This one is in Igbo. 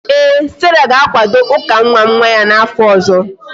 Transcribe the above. Ee, sarah ga-akwado ụka nwa nwa ya n'afọ ọzọ